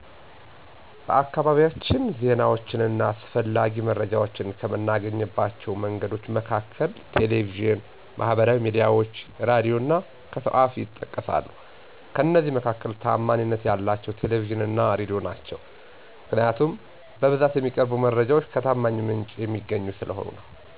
በአካባቢያችን ዜናዎችን እና አስፈላጊ መረጃዎችን ከምናገኝባቸው መንገዶች መካከል ቴሌቪዥን፣ ማህበራዊ ሚዲያዎች፣ ሬዲዮ እና ከሰው አፍ ይጠቀሳሉ፤ ከእነዚህ መካከል ታዓማኒነት ያላቸው ቴሌቪዥን እና ሬዲዮ ናቸው። ምክንያቱም በብዛት የሚቀርቡት መረጃዎች ከታማኝ ምንጭ የሚገኙ ስለሆኑ ነው።